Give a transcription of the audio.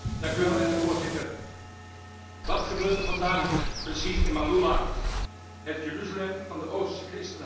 Voorzitter, wat gebeurt er vandaag precies in Maaloula, het 'Jeruzalem van de oosterse christenheid'?